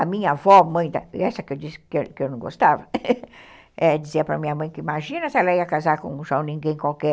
A minha avó, mãe, essa que eu disse que eu não gostava, dizia para minha mãe que imagina se ela ia casar com um João Ninguém qualquer.